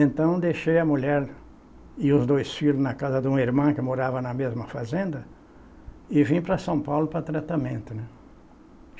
Então, deixei a mulher e os dois filhos na casa de uma irmã que morava na mesma fazenda e vim para São Paulo para tratamento, né.